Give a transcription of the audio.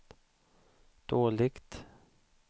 dåligt